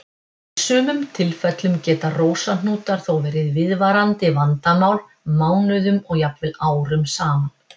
Í sumum tilfellum geta rósahnútar þó verið viðvarandi vandamál mánuðum og jafnvel árum saman.